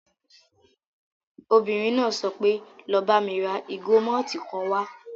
Obìnrin náà sọ wípé 'lọ bá mi ra ìgò mọ́tìì kan wá'